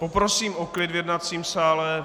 Poprosím o klid v jednacím sále.